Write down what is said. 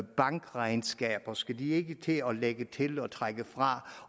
bankregnskaber skal de ikke til at lægge til og trække fra